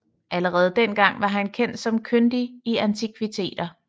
Allerede dengang var han kendt som kyndig i antikviteter